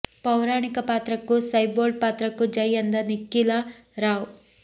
ಪೌರಾಣಿಕ ಪಾತ್ರಕ್ಕೂ ಸೈ ಬೋಲ್ಡ್ ಪಾತ್ರಕ್ಕೂ ಜೈ ಎಂದ ನಿಖಿಲಾ ರಾವ್